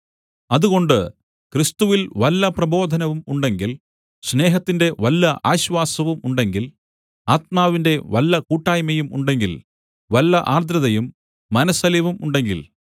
അതുകൊണ്ട് ക്രിസ്തുവിൽ വല്ല പ്രബോധനവും ഉണ്ടെങ്കിൽ സ്നേഹത്തിന്റെ വല്ല ആശ്വാസവും ഉണ്ടെങ്കിൽ ആത്മാവിന്റെ വല്ല കൂട്ടായ്മയും ഉണ്ടെങ്കിൽ വല്ല ആർദ്രതയും മനസ്സലിവും ഉണ്ടെങ്കിൽ